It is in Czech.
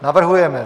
Navrhujeme